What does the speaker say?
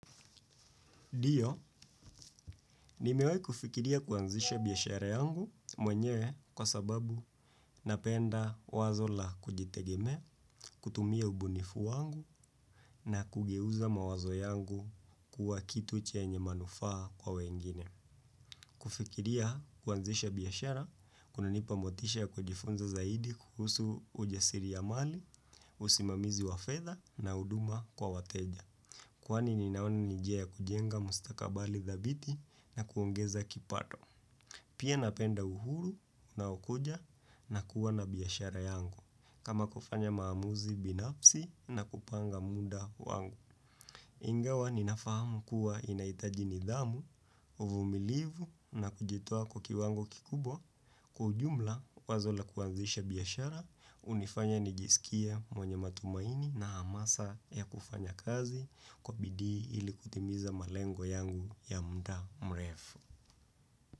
Ndiyo, nimewai kufikiria kuanzisha biashara yangu mwenyewe kwa sababu napenda wazo la kujitegemea, kutumia ubunifu wangu na kugeuza mawazo yangu kuwa kitu chenye manufaa kwa wengine. Kufikiria kuanzisha biashara kuna nipa motisha ya kujifunza zaidi kuhusu ujasiri ya mali, usimamizi wa fedha na huduma kwa wateja. Kwani ninawani ni njia ya kujenga mustakabali dhabiti na kuongeza kipato. Pia napenda uhuru unao kuja na kuwa na biashara yangu. Kama kufanya maamuzi binafsi na kupanga muda wangu. Ingawa ninafahamu kuwa inahitaji nidhamu, uvumilivu na kujitoa kwa kiwango kikubwa kwa ujumla wazo la kuanzisha biashara, hunifanya nijisikie mwenye matumaini na hamasa ya kufanya kazi kwa bidii ilikutimiza malengo yangu ya muda mrefu.